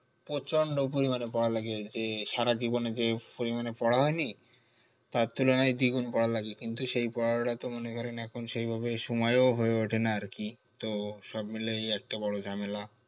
প্রচন্ড পরিমানে পড়া লাগে যে সারাজীবন এ যে পরিমানে পড়া হয়নি তার তুলনায় দ্বিগুন পড়া লাগবে কিন্তু সেই পড়াটা তো মনে করেন এখন সেই ভাবে সময় হয়ে উঠে না আর কি তো সব মিলায়ে এই একটা বড়ো ঝামেলা